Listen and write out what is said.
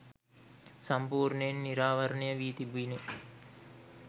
සම්පූර්ණයෙන් නිරාවරණය වී තිබිණ